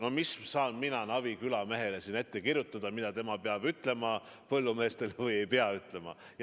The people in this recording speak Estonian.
No kuidas saan mina Navi küla mehele ette kirjutada, mida tema peab ütlema põllumeestele või ei pea ütlema.